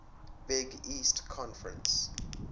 big east conference